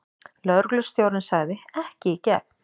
Lögreglustjórinn sagði: Ekki í gegn.